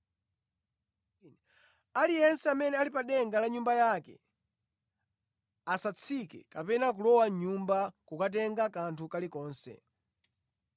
Aliyense amene ali pa denga la nyumba yake asatsike kapena kulowa mʼnyumba kukatenga kanthu kalikonse.